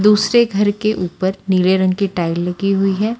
दूसरे घर के ऊपर नीले रंग कि टाइल लगी हुई हैं।